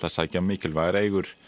sækja mikilvægar eigur